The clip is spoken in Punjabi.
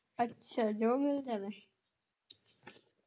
ਅੱਛਾ ਜੋ ਮਿਲ ਜਾਵੇ